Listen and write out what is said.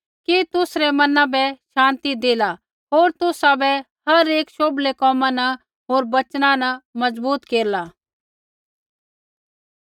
कि तुसरै मना बै शान्ति देला होर तुसाबै हर एक शोभलै कोमा न होर वचना न मजबूत केरला